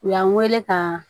U y'an weele ka